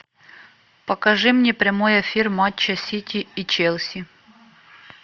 покажи мне прямой эфир матча сити и челси